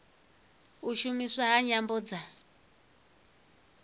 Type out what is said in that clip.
u shumiswa ha nyambo dza